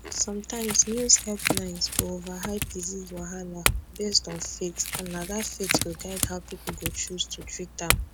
sometimes news headlines go overhype disease wahala based on faith and na that faith go guide how people go choose to treat am